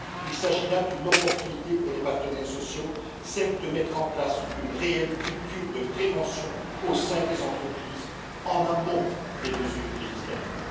Il s'agit là d'une opportunité pour les partenaires sociaux celle de mettre en place une réelle culture de prévention au sein des entreprises, en amont des mesures législatives.